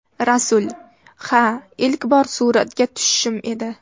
Rasul: Ha, ilk bor suratga tushishim edi.